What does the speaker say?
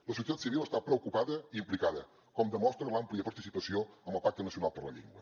la societat civil està preocupada i implicada com demostra l’àmplia participació amb el pacte nacional per la llengua